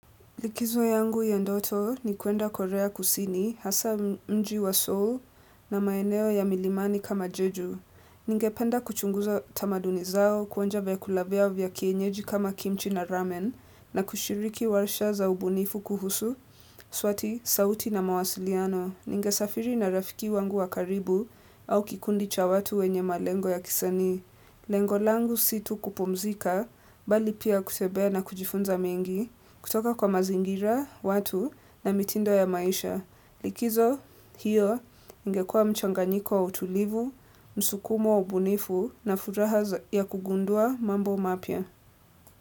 Likizo yangu ya ndoto ni kuenda korea kusini, hasa mji wa Seoul na maeneo ya milimani kama juju. Ningependa kuchunguza tamaduni zao, kuonja vyakula vyao vya kienyeji kama kimchi na ramen, na kushiriki warsha za ubunifu kuhusu, swati, sauti na mawasiliano. Ningesafiri na rafiki wangu wa karibu au kikundi cha watu wenye malengo ya kisanii. Lengo langu si tu kupumzika, bali pia kutembea na kujifunza mengi. Kutoka kwa mazingira, watu na mitindo ya maisha. Likizo hiyo ingekua mchanganiko wa utulivu, msukumo wa ubunifu na furaha ya kugundua mambo mapya.